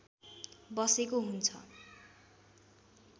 बसेको हुन्छ